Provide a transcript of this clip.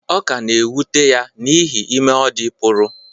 Ọ ka na-ewute ya n’ihi ime ọ dị pụrụ